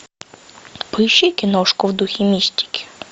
поищи киношку в духе мистики